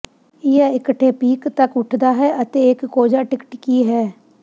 ਇਹ ਇਕੱਠੇ ਪੀਕ ਤੱਕ ਉੱਠਦਾ ਹੈ ਅਤੇ ਇੱਕ ਕੋਝਾ ਟਿਕਟਿਕੀ ਹੈ